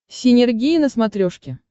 синергия на смотрешке